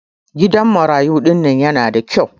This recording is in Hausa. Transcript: gidan marayu dinnan yanada kyau